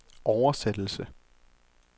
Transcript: oversættelse